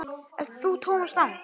Ert þú Thomas Lang?